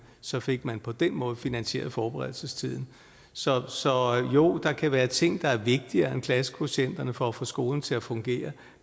så fik man på den måde finansieret forberedelsestiden så så jo der kan være ting der er vigtigere end klassekvotienterne for at få skolen til at fungere